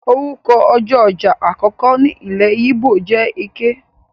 Orúkọ ọjọ́ ọjà àkọ́kọ́ ní ilé yíbò jẹ Eké.